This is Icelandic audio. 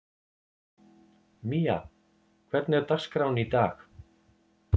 Mía, hvernig er dagskráin í dag?